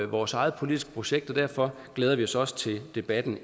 vores eget politiske projekt og derfor glæder vi os også til debatten